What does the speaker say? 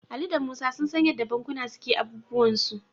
Ali da Musa sun san yadda bankuna suke abubuwansu..